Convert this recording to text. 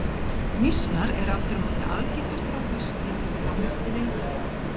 Mýsnar eru aftur á móti algengastar á haustin og fram eftir vetri.